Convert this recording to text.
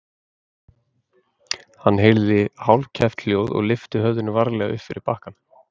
Hann heyrði hálfkæft hljóð og lyfti höfðinu varlega upp fyrir bakkann.